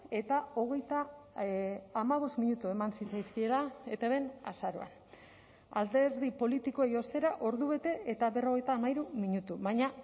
eta hogeita hamabost minutu eman zitzaizkiela etbn azaroan alderdi politikoei ostera ordubete eta berrogeita hamairu minutu baina